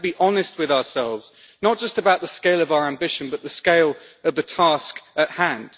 We have to be honest with ourselves, not just about the scale of our ambition, but the scale of the task at hand.